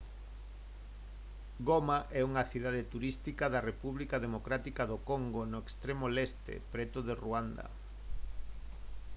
goma é unha cidade turística da república democrática do congo no extremo leste preto de ruanda